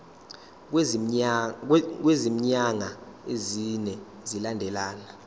kwezinyanga ezine zilandelana